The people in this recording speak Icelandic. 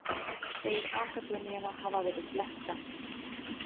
Segir akademíuna hafa verið blekkta